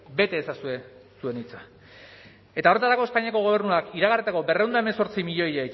bete ezazue zuen hitza eta horretarako espainiako gobernuak iragarritako berrehun eta hemezortzi milioiak